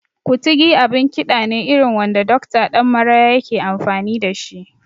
Kutigi abin kiɗa ne irin wanda Dokta Ɗan Maraya yake amfani da shi